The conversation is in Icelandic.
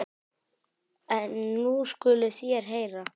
En nú skuluð þér heyra.